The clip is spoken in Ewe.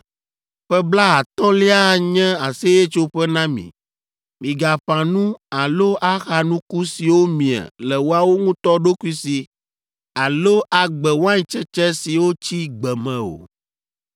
Ƒe blaatɔ̃lia anye Aseyetsoƒe na mi. Migaƒã nu alo axa nuku siwo mie le woawo ŋutɔ ɖokui si alo agbe waintsetse siwo tsi gbe me o,